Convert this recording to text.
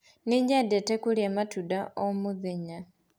Nĩnyendete kũrĩa matunda o mũthenya.